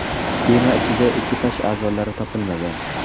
Kema ichida ekipaj a’zolari topilmagan.